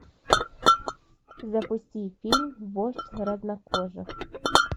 запусти фильм вождь разнокожих